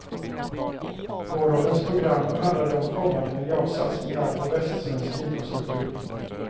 Gårdagens program handlade om kommande miljardsatsningar på västsvensk infrastruktur.